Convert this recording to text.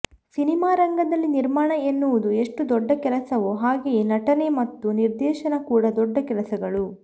ಸಿನಿಮಾರಂಗದಲ್ಲಿ ನಿರ್ಮಾಣ ಎನ್ನುವುದು ಎಷ್ಟು ದೊಡ್ಡ ಕೆಲಸವೋ ಹಾಗೆಯೇ ನಟನೆ ಮತ್ತು ನಿರ್ದೇಶನ ಕೂಡಾ ದೊಡ್ಡ ಕೆಲಸಗಳು